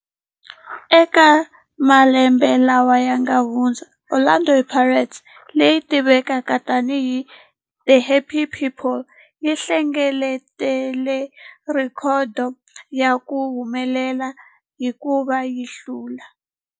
Eka malembe lawa yanga hundza, Orlando Pirates, leyi tivekaka tani hi 'The Happy People', yi hlengeletile rhekhodo ya ku humelela hikuva yi hlule.